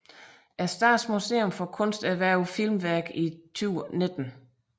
Statens Museum for Kunst erhvervede filmværket i 2019